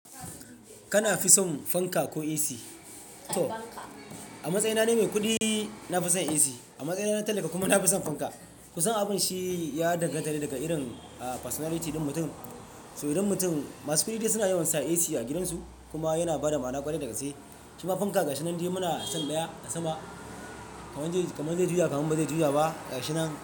Kana fi son fanka ko AC? A matsayina na mai kuɗi, na fi son AC. A matsayina na talaka kuma na fi son fanka. Ku san abun shi ya dangantace daga irin, ah, personality din mutum. Saboda irin mutum, masu kuɗi dayawa suna yawan sa AC a gidansu kuma yana bada ma'ana ƙwarai da gaske. Kima fanka ga shi nan dai muna sam baya da sama. Kamun zai juya kamun bazai juya ba, ga shi nan.